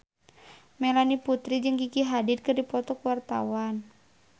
Melanie Putri jeung Gigi Hadid keur dipoto ku wartawan